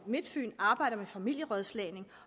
midtfyn arbejder med familierådslagning